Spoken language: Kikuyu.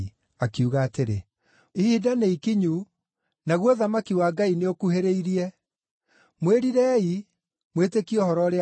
akiuga atĩrĩ, “Ihinda nĩikinyu, naguo ũthamaki wa Ngai nĩũkuhĩrĩirie. Mwĩrirei mwĩtĩkie Ũhoro-ũrĩa-Mwega!”